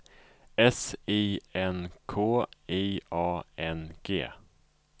S I N K I A N G